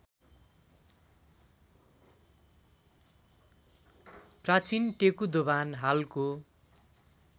प्राचीन टेकुदोभान हालको